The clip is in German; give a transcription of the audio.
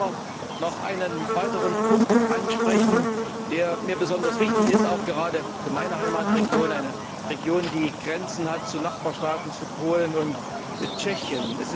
Ich möchte aber noch einen weiteren Punkt ansprechen, der mir besonders wichtig ist, auch gerade für meine Heimatregion, eine Region, die Grenzen hat zu den Nachbarstaaten Polen und Tschechien.